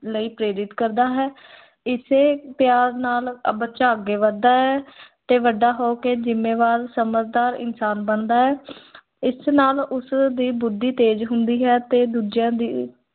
ਲਈ ਪ੍ਰੇਰਿਤ ਕਰਦਾ ਹੈ ਇਸੇ ਪਿਆਰ ਨਾਲ ਅਹ ਬੱਚਾ ਅੱਗੇ ਵੱਧਦਾ ਹੈ ਤੇ ਵੱਡਾ ਹੋ ਕੇ ਜ਼ਿੰਮੇਵਾਰ ਸਮਝਦਾਰ ਇਨਸਾਨ ਬਣਦਾ ਹੈ ਇਸ ਨਾਲ ਉਸ ਦੀ ਬੁੱਧੀ ਤੇਜ਼ ਹੁੰਦੀ ਹੈ ਤੇ ਦੂਜਿਆਂ ਦੀ